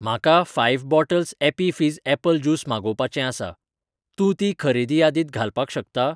म्हाका five bottles Appy Fizz apple juice मागोवपाचें आसा, तूं ती खरेदी यादीत घालपाक शकता?